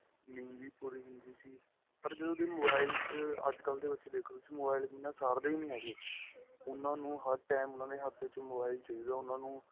ਨੀਂਦ ਵੀ ਪੂਰੀ ਹੁੰਦੀ ਸੀ ਪਰ ਜਦੋ ਦਿਨ mobile ਚ ਅੱਜ ਕੱਲ ਦੇ ਬੱਚੇ ਦੇਖਲੋ mobile ਬਿਨਾਂ ਸਾਰਦੇ ਨਹੀਂ ਹੈਗੇ ਉਹਨਾ ਨੂੰ ਹਰ time ਉਹਨਾ ਦੇ ਹੱਥ ਵਿੱਚ ਚਾਹੀਦਾ ਏ ਉਹਨਾ ਨੂੰ